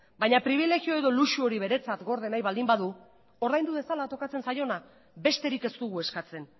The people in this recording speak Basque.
baina pribilegio edo luxu hori beretzat gorde nahi baldin badu ordaindu dezala tokatzen zaiona besterik ez dugu eskatzen